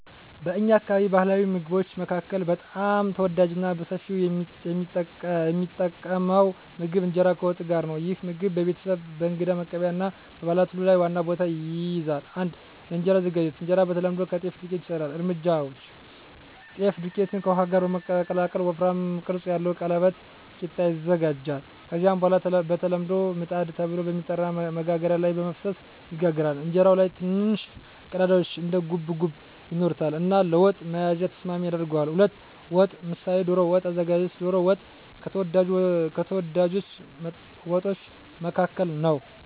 በእኛ አካባቢ ባሕላዊ ምግቦች መካከል በጣም ተወዳጅና በሰፊው የሚጠቀም ምግብ እንጀራ ከወጥ ጋር ነው። ይህ ምግብ በቤተሰብ፣ በእንግዳ መቀበያ እና በበዓላት ሁሉ ላይ ዋና ቦታ ይይዛል። 1. የእንጀራ አዘገጃጀት እንጀራ በተለምዶ ከጤፍ ዱቄት ይሰራል። እርምጃዎች: ጤፍ ዱቄትን ከውሃ ጋር በመቀላቀል ወፍራም ቅርጽ ያለው ቀለበት (ቂጣ) ይዘጋጃል። ከዚያ በኋላ በተለምዶ “ምጣድ” ተብሎ በሚጠራ መጋገሪያ ላይ በመፍሰስ ይጋገራል። እንጀራው ላይ ትንንሽ ቀዳዳዎች (እንደ ጉብጉብ) ይኖሩታል እና ለወጥ መያዝ ተስማሚ ያደርገዋል። 2. ወጥ (ምሳሌ ዶሮ ወጥ) አዘገጃጀት ዶሮ ወጥ ከተወዳጅ ወጦች መካከል ነው።